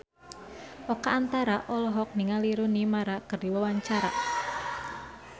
Oka Antara olohok ningali Rooney Mara keur diwawancara